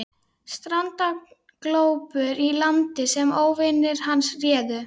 Strandaglópur í landi sem óvinir hans réðu.